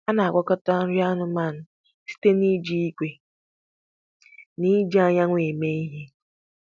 A na-agwakọta nri anụmanụ site na iji igwe na-eji anyanwụ eme ihe.